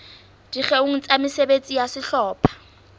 dikgeong tsa mesebetsi ya sehlopha